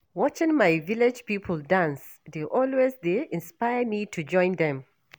Watching my village people dance dey always dey inspire me to join dem.